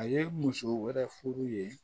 A ye muso wɛrɛ furu ye